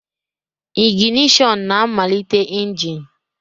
Ignishon na-amalite engine.